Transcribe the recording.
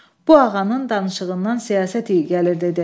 Bu ağanın danışığından siyasət iyi gəlir dedi.